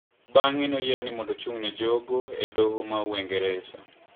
Bang`e noyiere mondo ochung`ne jogo e doho ma Uingereza.